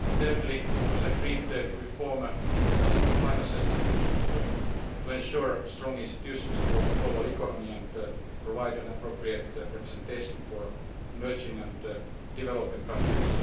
Thirdly, it was agreed to reform the international financial institutions to ensure strong institutions for the global economy and provide appropriate representation for emerging and developing countries.